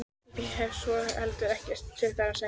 Ég hef svo sem heldur ekkert til þeirra að sækja.